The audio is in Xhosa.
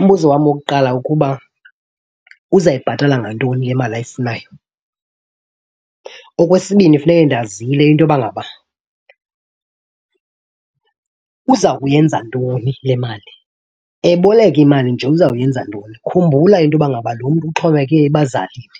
Umbuzo wam wokuqala ukuba uza yibhatala ngantoni le mali ayifunayo? Okwesibini funeke ndazile into yoba ngaba uza kuyenza ntoni le mali? Eboleka imali nje uzawuyenza ntoni? Khumbula into yoba ngaba lo mntu uxhomekeke ebazalini.